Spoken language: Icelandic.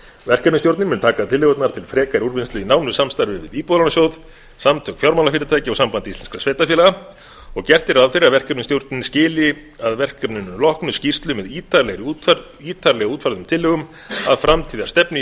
verkefnisstjórnin mun taka tillögurnar til frekari úrvinnslu í nánu samstarfi við íbúðalánasjóð samtök fjármálafyrirtækja og samband íslenskra sveitarfélaga og gert er ráð fyrir að verkefnisstjórnin skili að verkefninu loknu skýrslu með ítarlega útfærðum tillögum að framtíðarstefnu í